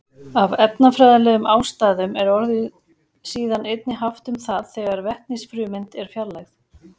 Af efnafræðilegum ástæðum er orðið síðan einnig haft um það þegar vetnisfrumeind er fjarlægð.